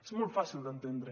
és molt fàcil d’entendre